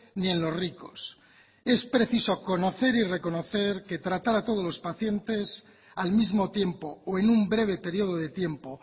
ni en los ricos es preciso conocer y reconocer que tratar a todos los pacientes al mismo tiempo o en un breve periodo de tiempo